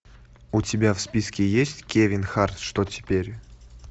у тебя в списке есть кевин харт что теперь